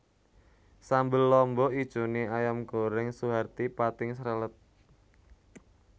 Sambel lombok ijone Ayam Goreng Suharti pating srelet